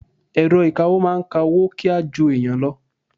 Èrọ ìkawó ń máa ka owó kíá ju ẹ̀yàn lọ.